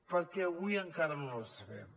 perquè avui encara no la sabem